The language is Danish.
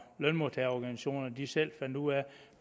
lønmodtagerorganisationerne selv fandt ud af